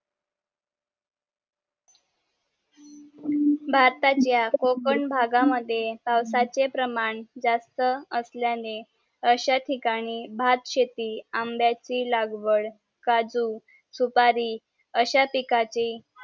भारतात या कोकण भागा मद्ये पावसाचे प्रमाण जास्त असल्याने आशा तठीकाणी भात शेती आंब्याची लागवड काजू सुपारी आशा पिकाची